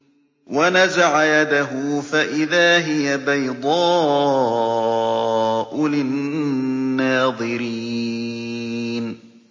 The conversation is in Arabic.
وَنَزَعَ يَدَهُ فَإِذَا هِيَ بَيْضَاءُ لِلنَّاظِرِينَ